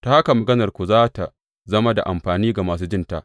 Ta haka maganarku za tă zama da amfani ga masu jinta.